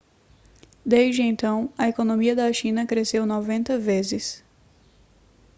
desde então a economia da china cresceu 90 vezes